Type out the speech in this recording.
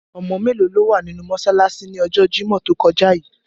Omo melo lo wa ninu mosalasi ni ojo Jimọ to koja yii?